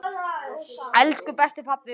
Elsku besti, pabbi minn.